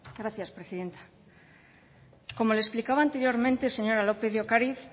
gracias presidenta como le explicaba anteriormente señora lópez de ocariz